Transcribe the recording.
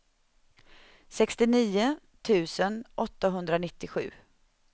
sextionio tusen åttahundranittiosju